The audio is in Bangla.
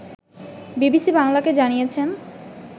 বিবিসি বাংলাকে জানিয়েছেন